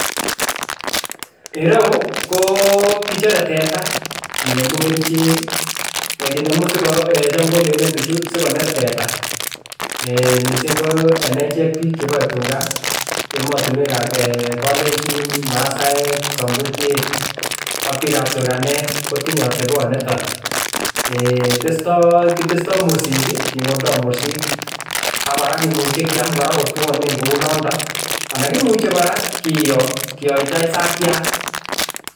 Ireyu ko kichore tetaa kinemu kerichek, kinemu siko eeh chaam kolelen bichu sikoner teta mising ko en echek biik cheboe tukaa, emotinwekab kolenjin, masaek, somburiek ak biikab turkanek kotinye oteboniton, eeh testo kitesto mursik kingoldo mursik ak kora kimuche kiam kotwon kou nondon anan kimuche kora kiyoo kiyoita isakiat.